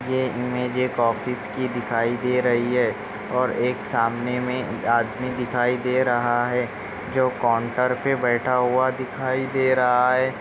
ये इमेज एक ऑफिस की दिखाई दे रही है और एक सामने मे एक आदमी दिखाई दे रहा है जो काउंटर पे बैठा हुआ दिखाई दे रहा है।